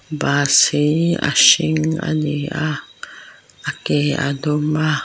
bus hi a hring a ni a a ke a dum a.